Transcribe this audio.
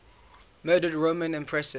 murdered roman empresses